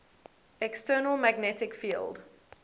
external magnetic field